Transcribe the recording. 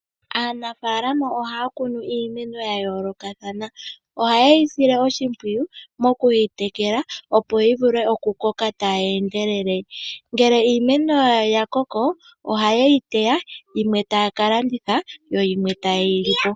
Aanafalama ohaa kunu iimeno yayolokathana. Oha yeyi sile oshimpwiyu mokwiitekela opo yivule oku koka taye ndelele. Ngele iimeno yawo yakoko oha yeyi teya yimwe taa kalanditha yo yimwe taye yilipo.